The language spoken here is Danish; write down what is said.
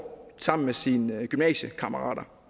sammen med sine gymnasiekammerater